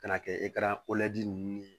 Ka na kɛ ninnu ye